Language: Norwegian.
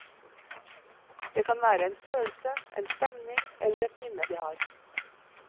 Det kan være en følelse, en stemning eller et minne de har.